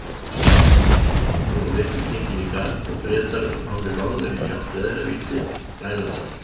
Nú var vetur genginn í garð og Bretar komnir norður í sjálft veðravítið, Grænlandshaf.